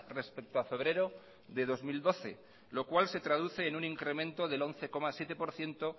respecto a febrero de dos mil doce lo cual se traduce en un incremento del once coma siete por ciento